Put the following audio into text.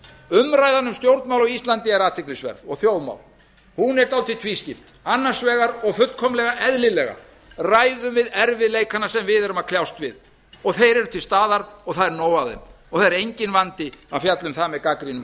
umræðan um stjórnmál á íslandi er athyglisverð og þjóðmál hún er dálítið tvískipt annars vegar og fullkomlega eðlilega ræðum við erfiðleikana sem við erum að kljást við og þeir eru til staðar og það er nóg af þeim og það er enginn vandi að fjalla um það með gagnrýnum